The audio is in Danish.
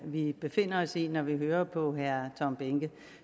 vi befinder os i når vi hører på herre tom behnke